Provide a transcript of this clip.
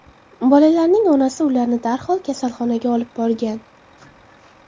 Bolalarning onasi ularni darhol kasalxonaga olib borgan.